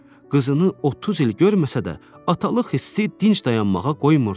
Qızını 30 il görməsə də, atalıq hissi dinc dayanmağa qoymurdu.